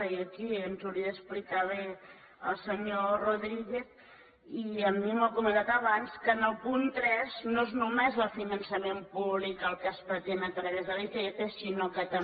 i aquí ens hauria d’explicar bé el senyor rodríguez i a mi m’ho ha comentat abans que en el punt tres no és només el finançament públic el que es pretén a través de l’icf sinó que també